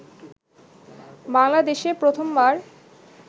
বাংলাদেশে প্রথমবার